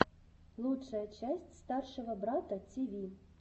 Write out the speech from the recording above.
лучшая часть старшего брата тв